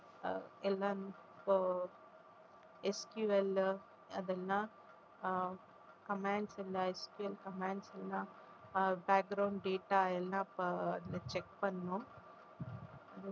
எல்லாம் இப்போ SQL அதெல்லாம் ஆஹ் commands இந்த SQL commands எல்லாம் ஆஹ் data எல்லாம் check பண்ணோம்